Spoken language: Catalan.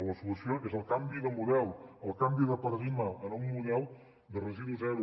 la solució és el canvi de model el canvi de paradigma anar a un model de residu zero